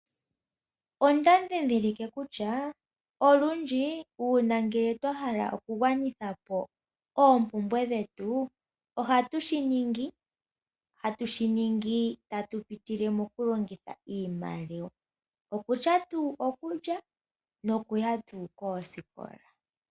Onda dhindhilike kutya olundji uuna ngele twa hala okugwanitha po oompumbwe dhetu ohatu shi ningi hatu shi ningi tatu pitile mokulongitha iimaliwa, okutya tuu okulya nokuya tuu koosikola.